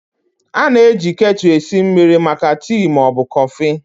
A na-eji ketu esi mmiri maka tii ma ọ bụ kọfị.